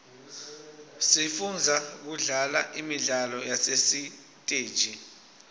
sifunza kudlala imidlalo yasesiteji